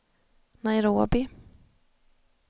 Nairobi